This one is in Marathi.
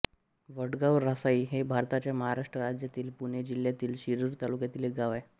वडगांव रासाई हे भारताच्या महाराष्ट्र राज्यातील पुणे जिल्ह्यातील शिरूर तालुक्यातील एक गाव आहे